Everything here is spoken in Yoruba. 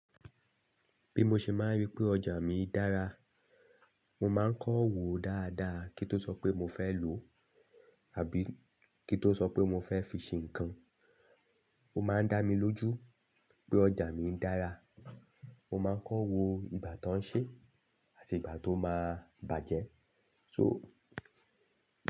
Bí mo ṣe máa ń rí pé ọjà mi dára, mo máa ń kọ́ òwò dáadáa. Kí tó sọ pé mo fẹ́ lò àbí kí tó sọ pé mo fẹ́ fi ṣe nǹkan, ó máa ń dá mi lójú pé ọjà mi dára. Mo máa ń kọ́ wo ìgbà tó ń ṣe àti ìgbà tó máa bàjẹ́. So.